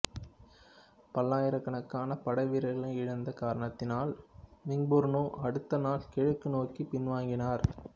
பல்லாயிரக்கணக்கான படை வீரர்களை இழந்த காரணத்தினால் மிங்புர்னு அடுத்த நாள் கிழக்கு நோக்கிப் பின்வாங்கினார்